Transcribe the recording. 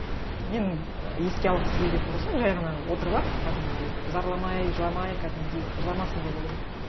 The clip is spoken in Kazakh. мені еске алғысы келетін болса жай ғана отырып алып кәдімгідей зарламай жыламай кәдімгідей жыламасын деп ойлаймын